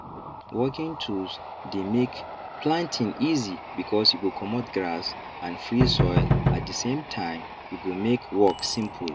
working tools dey make planting easy because e go comot grass and free soil at the same time e go make work simple